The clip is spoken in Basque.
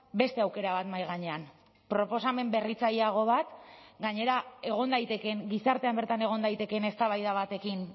beste aukera bat mahai gainean proposamen berritzaileago bat gainera egon daitekeen gizartean bertan egon daitekeen eztabaida batekin